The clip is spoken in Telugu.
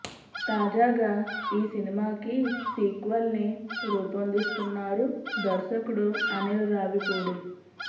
తాజాగా ఈ సినిమాకి సీక్వెల్ని రూపొందిస్తున్నారు దర్శకుడు అనిల్ రావిపూడి